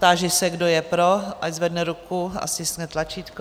Táži se, kdo je pro, ať zvedne ruku a stiskne tlačítko.